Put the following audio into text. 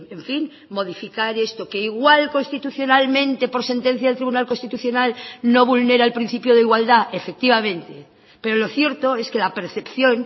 en fin modificar esto que igual constitucionalmente por sentencia del tribunal constitucional no vulnera el principio de igualdad efectivamente pero lo cierto es que la percepción